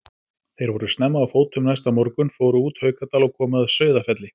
Þeir voru snemma á fótum næsta morgun, fóru út Haukadal og komu að Sauðafelli.